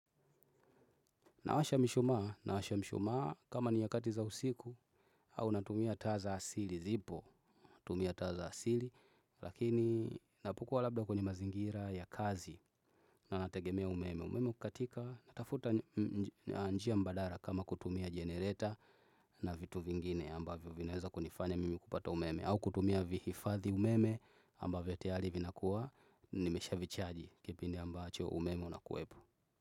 Nawasha mishumaa, nawasha mishumaa kama ni nyakati za usiku au natumia taa asili zipo, natumia taa za asili lakini napo kuwa labda kwenye mazingira ya kazi na nategemea umeme. Umeme kukatika natafuta njia mbadala kama kutumia generator na vitu vingine ambavyo vinaeza kunifanya mimi kupata umeme. Au kutumia vihifathi umeme ambavyo tayaril vina kuwa nimesha vichaji kipindi ambacho umeme unakuepo.